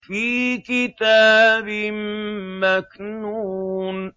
فِي كِتَابٍ مَّكْنُونٍ